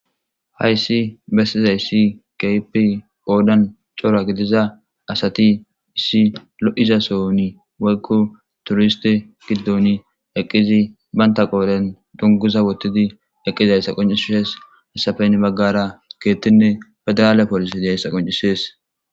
Hayssi besizayssi keehippe qodan cora gidida asati issi lo'iza sohoni woykko turiste gidoni eqqidi banta qooren donguza wotidi eqidaga qonccisees. hayssappe hini bagara keeththtinne fedirale polise diyayssa qonccisees.